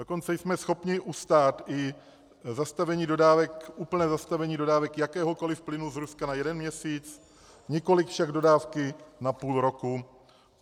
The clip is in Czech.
Dokonce jsme schopni ustát i úplné zastavení dodávek jakéhokoli plynu z Ruska na jeden měsíc, nikoliv však dodávky na půl roku.